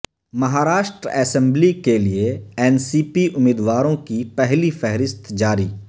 Maharashtra assembly کیلئے N C P امیدواروں کی پہلی فہرست جاری